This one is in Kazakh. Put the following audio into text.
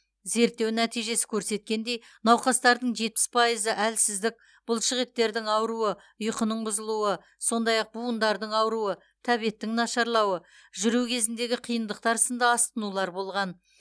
зерттеу нәтижесі көрсеткендей науқастардың жетпіс пайызы әлсіздік бұлшықеттердің ауруы ұйқының бұзылуы сондай ақ буындардың ауруы тәбеттің нашарлауы жүру кезіндегі қиындықтар сынды асқынулар болған